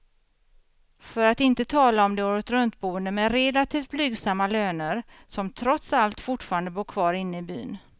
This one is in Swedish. För att inte tala om de åretruntboende med relativt blygsamma löner, som trots allt fortfarande bor kvar inne i byn.